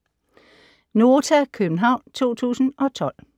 (c) Nota, København 2012